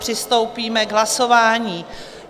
Přistoupíme k hlasování.